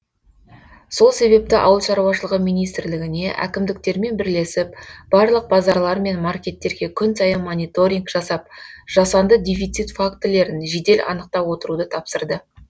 сол себепті ауыл шаруашылығы министрлігіне әкімдіктермен бірлесіп барлық базарлар мен маркеттерге күн сайын мониторинг жасап жасанды дефицит фактілерін жедел анықтап отыруды тапсырды